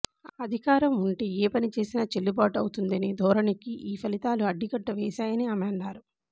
అధికారం ఉంటే ఏ పని చేసినా చెల్లుబాటు అవుతుందనే ధోరణికి ఈ ఫలితాలు అడ్డుకట్ట వేశాయని ఆమె అన్నారు